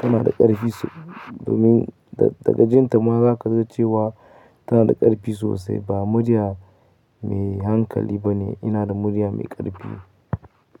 tana da ƙarfi sosai, domin daga jinta ma za ka iya cewa tana da ƙarfi sosai. Ba murya mai hankali ba ne, ina da murya mai ƙarfi.